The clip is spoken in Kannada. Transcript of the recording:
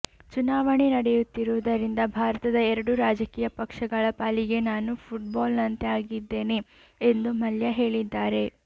ಚುನಾವಣೆ ನಡೆಯುತ್ತಿರುವುದರಿಂದ ಭಾರತದ ಎರಡು ರಾಜಕೀಯ ಪಕ್ಷಗಳ ಪಾಲಿಗೆ ನಾನು ಫುಟ್ ಬಾಲ್ ನಂತೆ ಆಗಿದ್ದೇನೆ ಎಂದು ಮಲ್ಯ ಹೇಳಿದ್ದಾರೆ